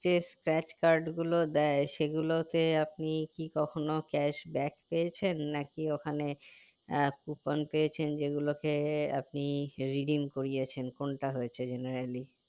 যে scratch card গুলো দেয় সেগুলোতে আপনি কি কখনো cashback পেয়েছেন নাকি ওখানে কুপন পেয়েছেন যেগুলোকে আপনি redeem করিয়েছেন কোনটা হয়েছে generally